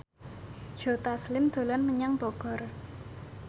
Joe Taslim dolan menyang Bogor